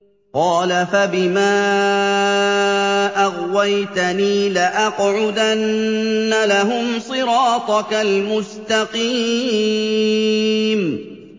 قَالَ فَبِمَا أَغْوَيْتَنِي لَأَقْعُدَنَّ لَهُمْ صِرَاطَكَ الْمُسْتَقِيمَ